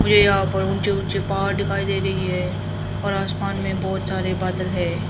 मुझे यहां पर ऊंचे ऊंचे पहाड़ दिखाई दे रही है और आसमान में बहुत सारे बदले हैं।